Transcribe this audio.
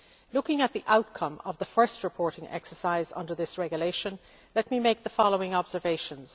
Looking at the outcome of the first reporting exercise under this regulation, let me make the following observations.